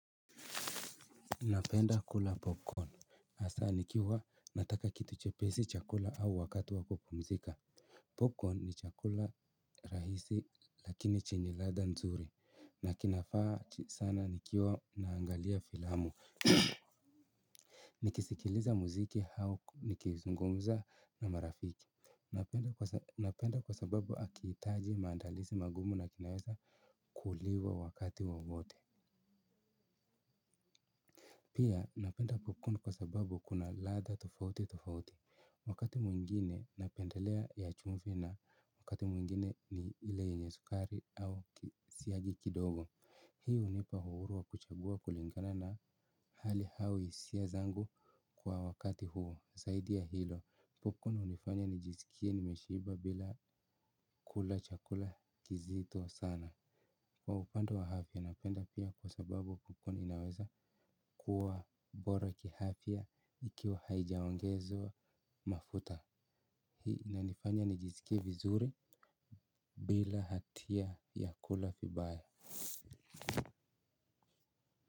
Napenda kula popcorn. Hasa nikiwa nataka kitu chepesi cha kula au wakati wako kupumzika. Popcorn ni chakula rahisi lakini chenye ladha nzuri. Na kinafaa sana nikiwa naangalia filamu. Nikisikiliza muziki au nikizungumza na marafiki napenda kwa napenda kwa sababu hakihitaji maandalizi magumu na kinaweza kuliwa wakati wa wowote pia napenda popcorn kwa sababu kuna ladha tofauti tofauti wakati mwingine napendelea ya chumvi na wakati mwingine ni ile yenye sukari au siagi kidogo hiyo hunipa uhuru wa kuchagua kulingana na hali au hisia zangu kwa wakati huo zaidi ya hilo, popcorn hunifanya nijisikie nimeshiba bila kula chakula kizito sana kwa upande wa afya napenda pia kwa sababu popcorn inaweza kuwa bora kiafya ikiwa haijaongezwa mafuta. Hii inanifanya nijisikie vizuri bila hatia ya kula vibaya.